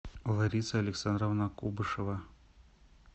лариса александровна кубышева